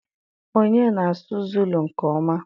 Onye na-asụ Zulu nke ọma?